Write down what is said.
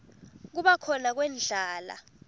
kuba khona kwendlala